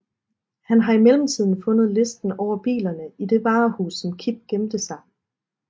Han har i mellemtiden fundet listen over bilerne i det varehus som Kip gemte sig